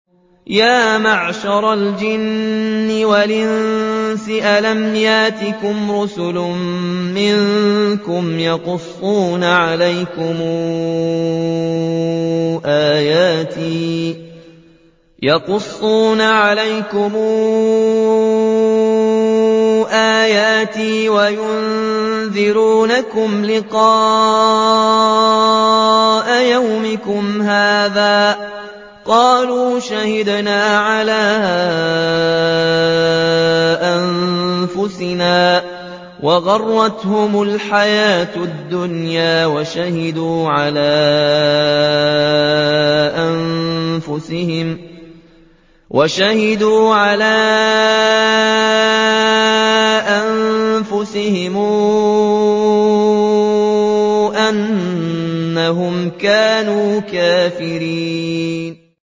يَا مَعْشَرَ الْجِنِّ وَالْإِنسِ أَلَمْ يَأْتِكُمْ رُسُلٌ مِّنكُمْ يَقُصُّونَ عَلَيْكُمْ آيَاتِي وَيُنذِرُونَكُمْ لِقَاءَ يَوْمِكُمْ هَٰذَا ۚ قَالُوا شَهِدْنَا عَلَىٰ أَنفُسِنَا ۖ وَغَرَّتْهُمُ الْحَيَاةُ الدُّنْيَا وَشَهِدُوا عَلَىٰ أَنفُسِهِمْ أَنَّهُمْ كَانُوا كَافِرِينَ